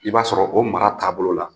I b'a sɔrɔ o mara taabolo la